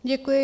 Děkuji.